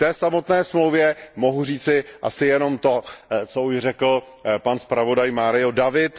K samotné dohodě mohu říci asi jenom to, co už řekl pan zpravodaj Mário David.